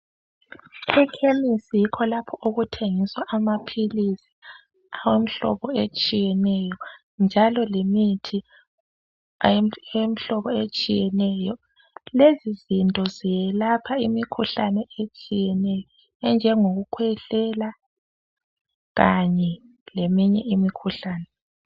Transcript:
Ekhemisi yikho lapho okuthengiswa amaphilisi atshiyeneyo njalo lemithi etshiyeneyo lezizinto zelapha imikhuhlane etshiyeneyo enjengokukhwehlela kanye leminye imikhuhlane.